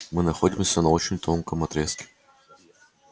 мы находимся на очень тонком отрезке